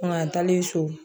Kunun taalen so